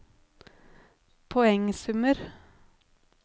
poengsummer